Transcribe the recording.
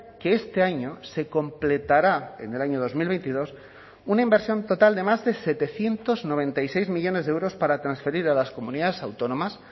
que este año se completará en el año dos mil veintidós una inversión total de más de setecientos noventa y seis millónes de euros para transferir a las comunidades autónomas